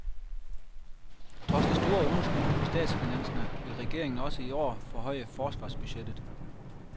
Trods det store underskud på statsfinanserne vil den regeringen også i år forhøje forsvarsbudgettet.